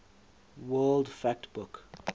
world fact book